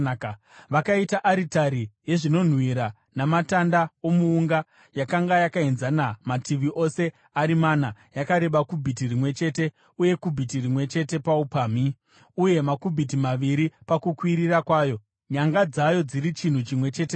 Vakaita aritari yezvinonhuhwira namatanda omuunga. Yakanga yakaenzana mativi ose ari mana, yakareba kubhiti rimwe chete uye kubhiti rimwe chete paupamhi, uye makubhiti maviri pakukwirira kwayo, nyanga dzayo dziri chinhu chimwe chete nayo.